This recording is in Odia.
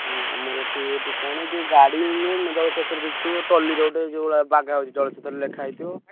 ହୁଁ ଆମର ଏଠି ଗୋଟେ କଣ ଏ ଯୋଉ ଗାଡି ଯୋଉ ମିଳୁନି ଜଳଛତ୍ର ଦେଖିଥିବ ଟଲିରେ ଗୋଟେ ଯୋଉଭଳିଆ ବାଗା ହଉଛି ଜଳଛତ୍ର ଲେଖାହେଇଥିବ।